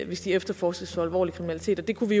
hvis de efterforskes for alvorlig kriminalitet vi kunne